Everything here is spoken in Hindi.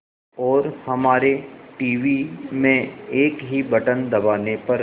और हमारे टीवी में एक ही बटन दबाने पर